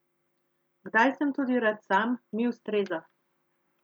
Kdaj sem tudi rad sam, mi ustreza.